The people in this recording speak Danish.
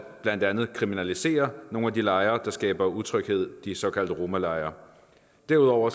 blandt andet at kriminalisere nogle af de lejre der skaber utryghed de såkaldte romalejre derudover